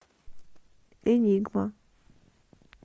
энигма